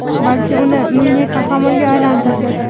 balki uni milliy qahramonga aylantirdi.